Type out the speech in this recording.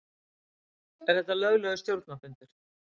Er þetta löglegur stjórnarfundur?